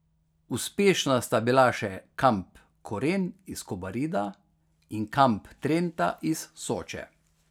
Uspešna sta bila še kamp Koren iz Kobarida in kamp Trenta iz Soče.